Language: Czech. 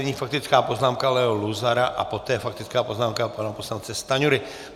Nyní faktická poznámka Leo Luzara a poté faktická poznámka pana poslance Stanjury.